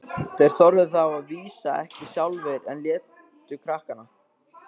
Þeir þorðu það að vísu ekki sjálfir, en létu krakkana.